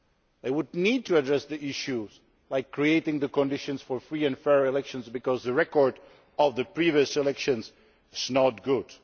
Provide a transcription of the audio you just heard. They would need to address the issue of creating the conditions for free and fair elections, because the record of the previous elections is not good.